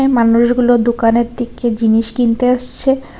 এ মানুষগুলো দোকানের থিকে জিনিস কিনতে আসছে।